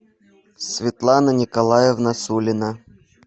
светлана николаевна сулина